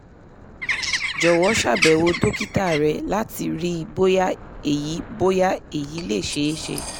jọ̀wọ́ ṣàbẹ̀wò dókítà rẹ̀ láti rí bóyá èyí bóyá èyí le ṣeé ṣe